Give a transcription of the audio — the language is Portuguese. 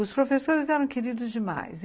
Os professores eram queridos demais.